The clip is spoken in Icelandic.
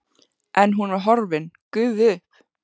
En hún var horfin, gufuð upp.